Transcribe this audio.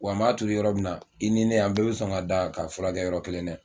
Wa n b'a turu yɔrɔ min na i ni ne an bɛɛ bɛ sɔn ka da ka furakɛ yɔrɔ kelen dɛ